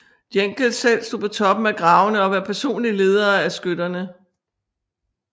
Jeckeln selv stod på toppen af gravene og var personligt leder af skytterne